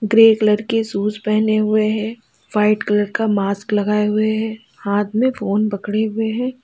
Grey colour की shoes पहने हुए हैं व्हाइट कलर का मास्क लगाए हुए हैं हाथ में फोन पकड़े हुए हैं।